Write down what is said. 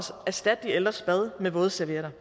erstatte de ældres bad med vådservietter